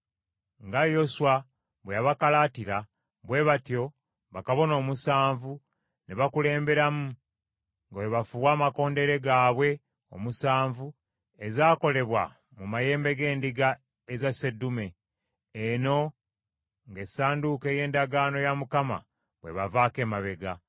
Nga Yoswa bwe yabakalaatira, bwe batyo bakabona omusanvu ne bakulemberamu nga bwe bafuuwa amakondeere gaabwe omusanvu ezaakolebwa mu mayembe g’endiga eza sseddume, eno nga Essanduuko ey’Endagaano ya Mukama bw’ebavaako emabega.